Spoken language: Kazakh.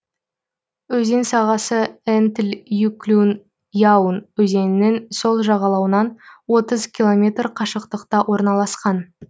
өзен сағасы энтль юклюн яун өзенінің сол жағалауынан отыз километр қашықтықта орналасқан